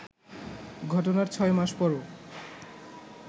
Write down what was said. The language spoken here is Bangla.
ঘটনার ছয় মাস পরও